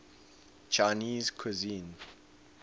chinese cuisine